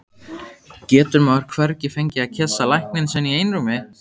Getur maður hvergi fengið að kyssa lækninn sinn í einrúmi?